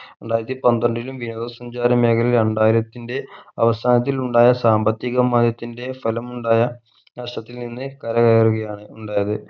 രണ്ടായിരത്തി പന്ത്രണ്ടിലും വിനോദ സഞ്ചാര മേഖലയിൽ രണ്ടായിരത്തിൻ്റെ അവസാനത്തിൽ ഉണ്ടായ സാമ്പത്തികമയത്തിൻെ ഫലമുണ്ടായ രാഷ്ട്രത്തിൽ നിന്ന് കരകയറുകയാണ് ഉണ്ടായത്